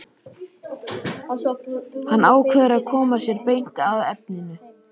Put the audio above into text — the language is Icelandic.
Hann ákveður að koma sér beint að efninu.